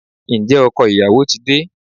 Ǹjẹ́ ọkọ ìyàwó ti de?